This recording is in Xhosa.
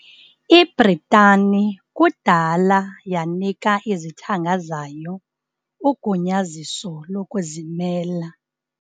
Ibritani kudala yanika izithanga zayo ugunyaziso lokuzimela.